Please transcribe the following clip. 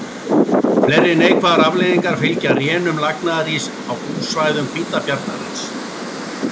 Fleiri neikvæðar afleiðingar fylgja rénun lagnaðaríss á búsvæðum hvítabjarnarins.